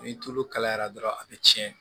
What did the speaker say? Ni tulu kalayara dɔrɔn a bɛ tiɲɛ